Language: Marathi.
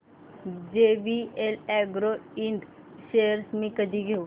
जेवीएल अॅग्रो इंड शेअर्स मी कधी घेऊ